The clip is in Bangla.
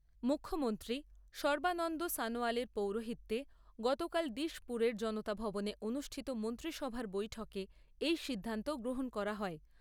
মুখ্যমন্ত্রী সর্বানন্দ সনোয়ালের পৌরোহিত্যে গতকাল ডিশপুরের জনতা ভবনে অনুষ্ঠিত মন্ত্রীসভার বৈঠকে এই সিদ্ধান্ত গ্রহণ করা হয়।